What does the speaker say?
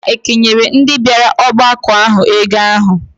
Ha ekenyela ndị bịara ọgbakọ ahụ ego ahụ?